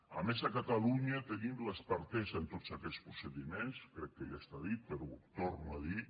a més a catalunya tenim l’expertesa en tots aquests procediments crec que ja està dit però ho torno a dir